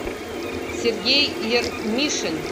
сергей ермишин